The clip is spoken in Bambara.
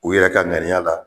U yɛrɛ ka ŋaniya la